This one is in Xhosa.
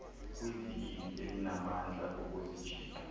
kwivili elinamandla okuzijika